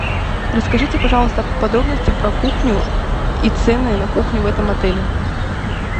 расскажите пожалуйста подробности про кухню и цены на кухню в этом отеле